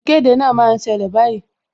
Ìkéde náà ń ṣẹlẹ̀ báyìí